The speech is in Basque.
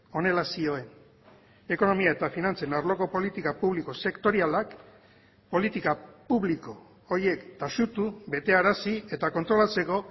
honela zioen ekonomia eta finantzen arloko politika publiko sektorialak politika publiko horiek taxutu betearazi eta kontrolatzeko